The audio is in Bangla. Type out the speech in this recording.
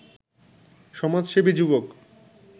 সমাজসেবী যুবক